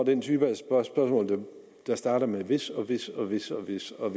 den type spørgsmål der starter med hvis og hvis og hvis og hvis og